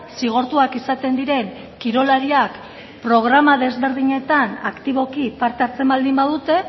zigortuak izaten diren kirolariak programa desberdinetan aktiboki parte hartzen baldin badute